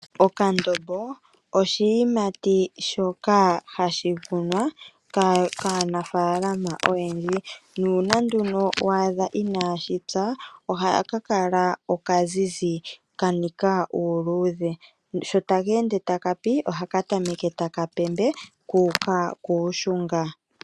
Okandombo oshiyimati shoka hashi kunwa kaanafalama oyendji, nuuna nduno wa adha inashi pya ohaka kala oka zizi, ka nika uuludhe, sho taka ende taka pi, ohaka tameke taka pembe kuuka kuushunga.